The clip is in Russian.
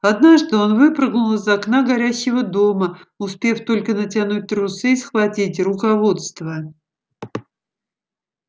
однажды он выпрыгнул из окна горящего дома успев только натянуть трусы и схватить руководство